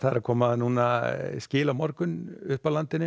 að koma skil á morgun upp að landinu